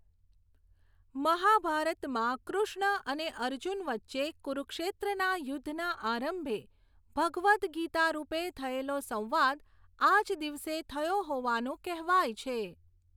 મહાભારતમાં કૃષ્ણ અને અર્જુન વચ્ચે કુરુક્ષેત્રના યુદ્ધના આરંભે ભગવદ ગીતા રૂપે થયેલો સંવાદ, આજ દિવસે થયો હોવાનું કહેવાય છે.